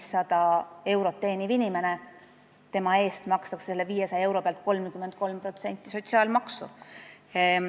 Ka 500 eurot teeniva inimese eest makstakse 33% sotsiaalmaksu selle 500 euro pealt.